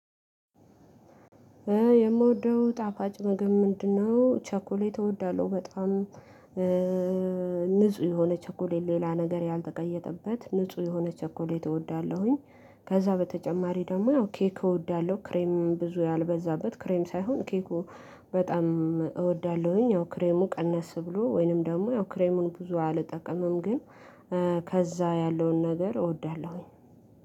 የምወደው ጣፋጭ ምግብ ምንድን ነው? ቸኮሌት እወዳለሁ በጣም። ንጹህ የሆነ ቸኮሌ ሌላ ነገር ያልተቀየጠበት ንጹህ የሆነ ቸኮሌ እወዳለሁኝ። ከዛ በተጨማሪ ደግሞ ኬክ እወዳለሁ ክሬም ብዙ ያልበዛበት ክሬም ሳይሆን ኬኩ በጣም እወዳለሁኝ። ያው ክሬሙ ቀነስ ብሎ ወይንም ደግሞ ያው ክሬሙን ብዙ አልጠቀምም ግን ከዛ ያለውን ነገር እወዳለሁኝ።